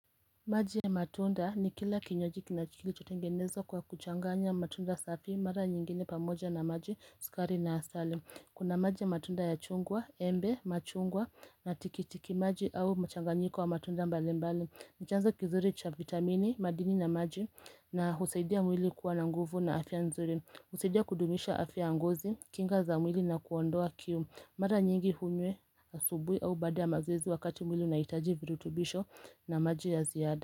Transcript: Maji ya matunda ni kila kinywaji kinacho tengenezwa kwa kuchanganya matunda safi mara nyingine pamoja na maji sukari na asali. Kuna maji ya matunda ya chungwa, embe, machungwa na tikitiki maji au mchanganyiko wa matunda mbali mbali ni chanzo kizuri cha vitamini, madini na maji na husaidia mwili kuwa na nguvu na afya nzuri husaidia kudumisha afya ya ngozi, kinga za mwili na kuondoa kiu, Mara nyingi unywe asubuhi au bada ya mazoezi wakati mwili unaaitaji virutubisho na maji ya ziada.